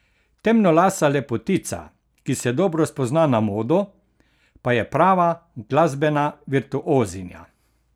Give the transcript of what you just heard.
Temnolasa lepotica, ki se dobro spozna na modo, pa je prava glasbena virtuozinja.